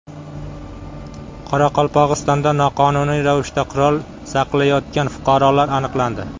Qoraqalpog‘istonda noqonuniy ravishda qurol saqlayotgan fuqarolar aniqlandi.